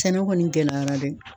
Sɛnɛ kɔni gɛlɛyara dɛ.